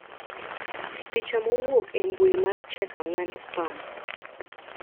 Picha mowuok embui mar Check4Spam.